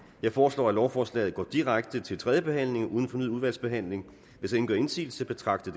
jeg foreslår at lovforslaget går direkte til tredje behandling uden fornyet udvalgsbehandling hvis ingen gør indsigelse betragter